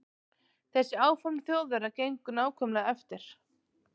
Þessi áform Þjóðverja gengu nákvæmlega eftir.